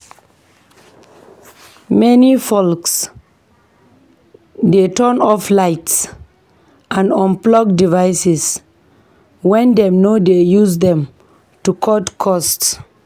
Many folks dey turn off lights and unplug devices when dem no dey use dem to cut costs.